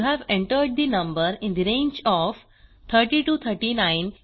you have entered the number in the range of 30 to 39